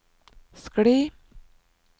skli